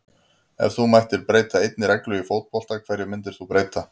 Ef þú mættir breyta einni reglu í fótbolta, hverju myndir þú breyta??